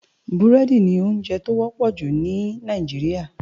Búrèdi ni óonjè tó wòpò jú ni Náijiriá